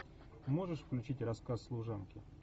можешь включить рассказ служанки